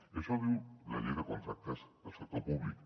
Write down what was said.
i això ho diu la llei de contractes del sector públic